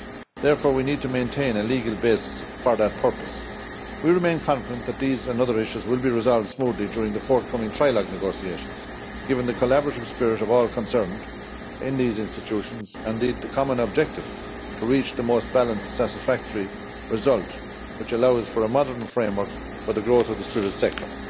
Therefore we need to maintain a legal basis for that purpose. We remain confident that these and other issues will be resolved smoothly during the forthcoming trilogue negotiations, given the collaborative spirit of all concerned in these institutions and in the common objective of reaching the most balanced and satisfactory result which allows for a modern framework for the growth of the spirit sector.